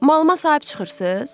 Malıma sahib çıxırsız?